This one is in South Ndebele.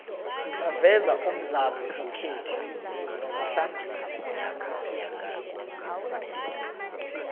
baveza umdlalo wesikhethu nomuhlangesi